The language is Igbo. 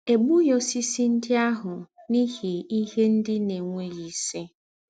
È gbúghí ósìsì ńdị́ àhụ̀ n’íhí íhe ńdị́ ná-ènwèghí ísì.